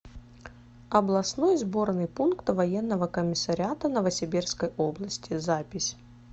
областной сборный пункт военного комиссариата новосибирской области запись